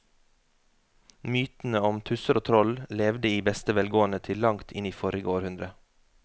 Mytene om tusser og troll levde i beste velgående til langt inn i forrige århundre.